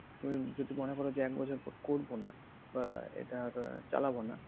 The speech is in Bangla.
যদি মনে করো যে এক বছর পর করবোনা বা এইটা চালাবো না